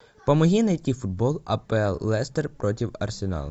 помоги найти футбол апл лестер против арсенала